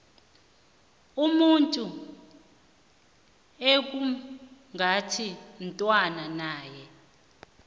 umuntu ekungathintwana naye